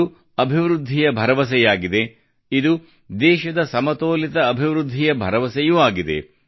ಇದು ಅಭಿವೃದ್ಧಿಯ ಭರವಸೆಯಾಗಿದೆ ಇದು ದೇಶದ ಸಮತೋಲಿತ ಅಭಿವೃದ್ಧಿಯ ಭರವಸೆಯೂ ಆಗಿದೆ